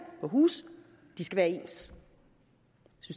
være ens